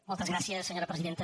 moltes gràcies senyora presidenta